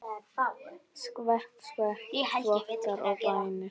Skvett, skvett, þvottar og bænir.